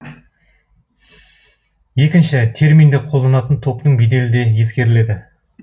екінші терминді қолданатын топтың беделі де ескеріледі